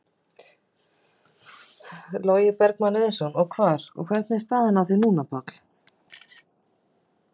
Logi Bergmann Eiðsson: Og hvar, hvernig er staðan á því núna, Páll?